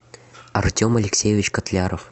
артем алексеевич котляров